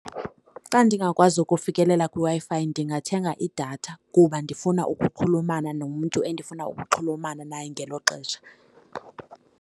Xa ndingakwazi ukufikelela kwiWi-Fi ndingathenga idatha kuba ndifuna ukuxhulumana nomntu endifuna ukuxhulumana naye ngelo xesha.